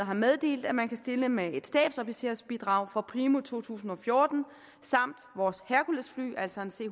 har meddelt at man kan stille med et stabsofficersbidrag fra primo to tusind og fjorten samt vores herculesfly altså et c